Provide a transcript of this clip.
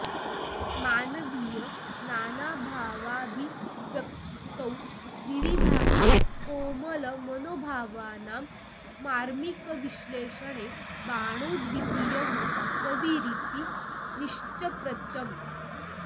मानवीय नानाभावाभिव्यक्तौ विविधानां कोमलमनोभावानां मार्मिकविश्लेषणे बाणोऽद्वितीयः कविरिति निश्चप्रचम्